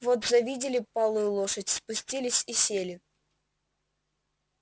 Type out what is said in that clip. вот завидели палую лошадь спустились и сели